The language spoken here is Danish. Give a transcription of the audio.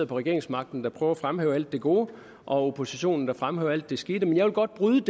regeringsmagten der prøver at fremhæve alt det gode og oppositionen der fremhæver alt det skidt jeg vil godt bryde